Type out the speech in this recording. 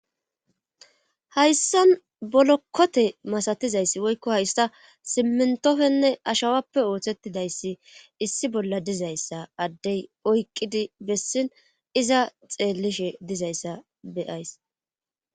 Hayssan bolokkote masatizayssi woykko hayssa simmintofenne ashawappe ooththettidayssi issi bolla dizayssa addey oyqqidi bessin iza xeellishe dizayssa beyayss.